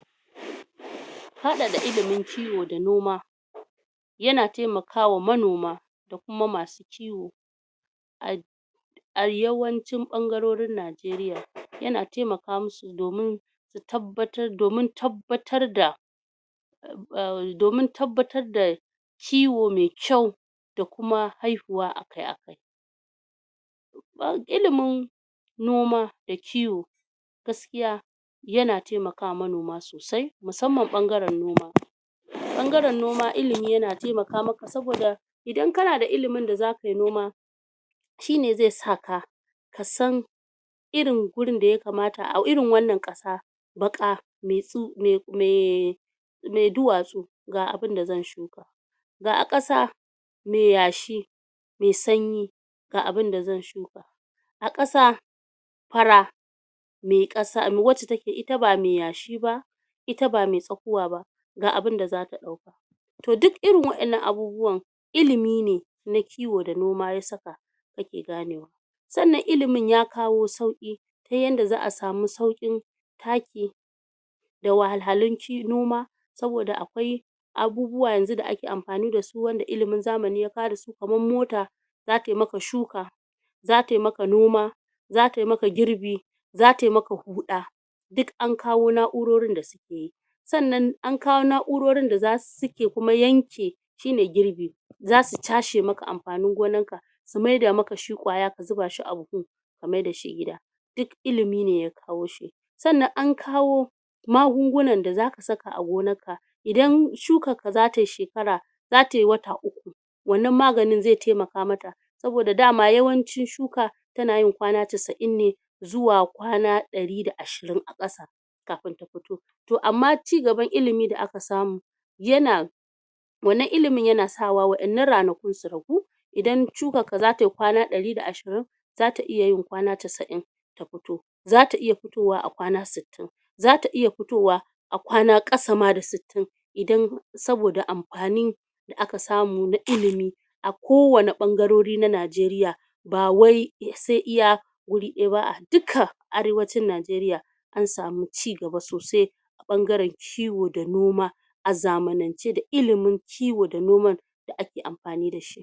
haɗa da ilimin kiwo da noma yana temakama manoma da kuma masu kiwo? a yawancin ɓangarorin Nigeria yana temaka musu domin domin tabbatar da domin tabbatar da kiwo me kyau da kuma haihuwa akai akai don ilimin noma da kiwo gaskiya yana temakama manoma sosai musamman ɓangaran noma ɓan garan noma ilimi yana temaka maka saboda idan kanada ilimin da zakayi noma shine ze saka kasan irin gurun da yakamata au irin wannan ƙasa baƙa me du me me me duwatsu ga abin da zan shuka ga ƙasa me yashi me sanyi ga abin da zan shuka a ƙasa fara me ƙasa rewad take ita ba me yashiba ita ba me tsakuwa ga abun da zaka ɗauko to duk irin waɗannan abubuwan ilimi ne na kiwo da noma yasaka ake ganewa sannan ilimin ya kawo sauƙi tayadda za a samu sauƙin taki da wahallalun noma saboda akwai abubuwa yanzu da ake am fani dasu wanda ilimin zamani farasu kaman mota za taimaka shuka za taimaka noma za taimaka girbi za taimaka huɗa duk an kawo na urorin da sukeyi sannan ankawo na urorin dasuke ke kuma yanke shine girbi zasu cashe maka amfanin gonanka su maida maka shi ƙwaya kazubashi a buhu a maidashi gida duk ilimine yakawo shi sannan ankawo ma gungunan da zaka saka agonanka idan shukanka zatai shekara zatai wata uku wannan maganin ze temaka maka saboda dama yawancin shuka tanayin kwana casa'in ne zuwa kwana ɗari da ashirin a ƙasa kafin tafito to amma ci gaban ilimi da aka samu yana wannan ilimin yana sawa waɗannan ranakun su ragu idan shukanka zatai kwana ɗari da ashirin zata iyayin kwana casa'in tafuto zata iya futowa akwana sittin zata iya futowa a kwana ƙasama da sittin idan saboda amfani da aka samu na ilimi a kowanan ɓanga rori na Nigeria ba wai se iya guri ɗayaba a duka arewacin Nigeria an samu ci gaba sosai ɓan garan kiwo da noma azamanance da ilimin kiwo da noman da ake amfani dashi